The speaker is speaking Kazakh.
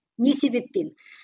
не себептен